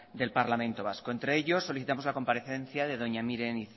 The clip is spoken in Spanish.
del parlamento vasco entre ellos solicitamos la comparecencia de doña miren